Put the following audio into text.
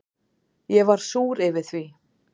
Ég var súr yfir því.